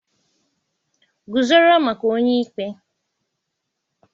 guzoro maka onye ikpe